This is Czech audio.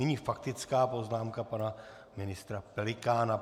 Nyní faktická poznámka pana ministra Pelikána.